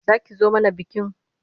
Za ki zo mana bikin?